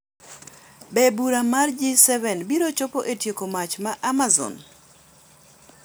Be bura mar G7 biro chopo e tieko mach ma Amazon ?